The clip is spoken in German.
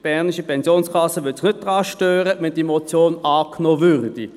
Die Bernische Pensionskasse (BPK) würde sich nicht daran stören, wenn diese Motion angenommen würde.